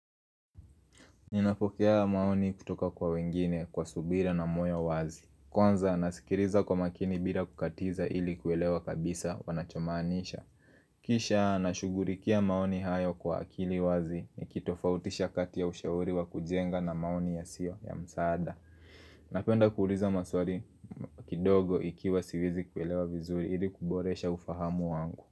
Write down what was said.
Ninapokea maoni kutoka kwa wengine kwa subira na moyo wazi. Kwanza nasikiliza kwa makini bila kukatiza ili kuelewa kabisa wanachomaanisha. Kisha nasugulikia maoni hayo kwa akili wazi ni kitofautisha kati ya ushauri wa kujenga na maoni ya sio ya msaada. Napenda kuuliza maswali kidogo ikiwa siwezi kuelewa vizuri ili kuboresha ufahamu wangu.